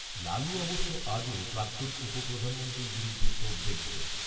লালু অবশ্য আজও প্রাক্তন উপপ্রধানমন্ত্রীর বিরুদ্ধে তোপ দেগেছেন